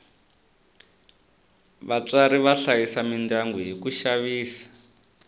vatswari va hlayisa midyangu hi ku xavisa